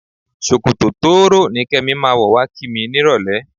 Ṣòkòtò tóóró ni Kẹ́mi máa wọ̀ wá kí mi nírọ̀lẹ́.